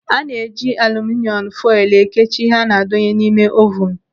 Ana-eji aluminịom foilu ekechi ihe ana-adonye n'ime ovunu.